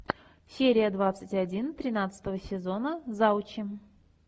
серия двадцать один тринадцатого сезона завучи